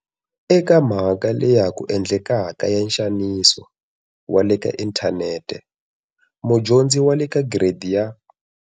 Eka mhaka leya ha ku endlekaka ya nxaniso wa le ka inthanete, mudyondzi wa le ka Gire di ya.